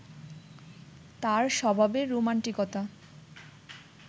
তাঁর স্বভাবের রোমান্টিকতা